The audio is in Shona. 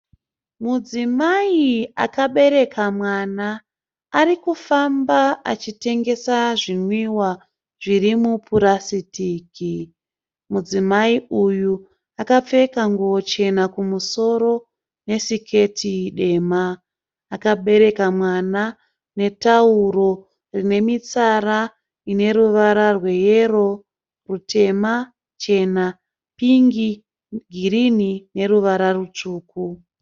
Mudzimai akabereka mwana arikufamba achitengesa zvinwiwa zviri mupurasitiki. Mudzimai uye akapfeka nguwo chena kumusoro nesiketi dema. Akabereka mwana netauro rine mitsara ine ruvara rweyero, rutema, chena, pingi, girini neruvara rutsvuku.